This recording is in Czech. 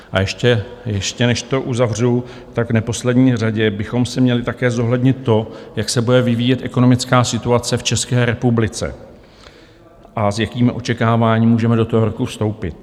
A ještě než to uzavřu, v neposlední řadě bychom si měli také zohlednit to, jak se bude vyvíjet ekonomická situace v České republice a s jakým očekáváním můžeme do toho roku vstoupit.